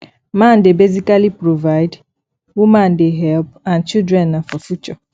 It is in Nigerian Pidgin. man de basically provide woman de help and children na for future